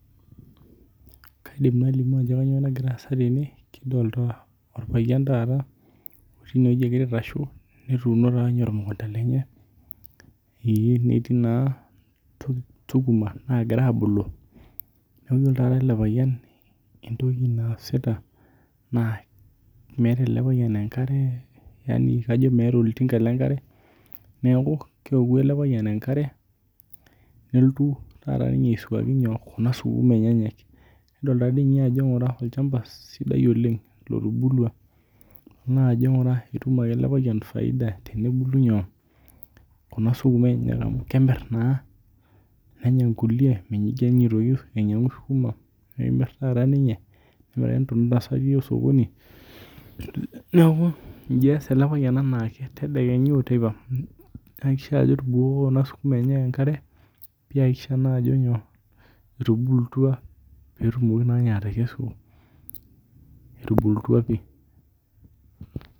Kaidim nalimu ajo kainyoo nagira asa tene kidolita orpayian taata otii ineweji ogira aitashe netuuno taa ninye emukunta enye etii naa sukuma nagira abulu nidol taata ele payian ajo esita naa meeta ele payian enkare yaani kajo meeta oltinka le nkare neeku keoku ele payina enkare nelotu taata ninye aisuaki nyoo? Kuna sukum enyenyek. Nedolitaa olchamba sidai oleng' lotubulua naa ajo ng'ura ketum ake ele payian faida tenebulu nyoo? Kuna sukuma enyenak amuu kebulu naa neny kulie nemir taata ninye neya oo sokoni neeku iji ees ele payian anaake tedekenya oo teipa etubokoko kuna sukuma enyenak enkare piyie aisho naji nyoo? Etubulutua pee etumoki naa ninye atekesu etubulutua pii.